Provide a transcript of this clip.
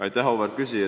Aitäh, auväärt küsija!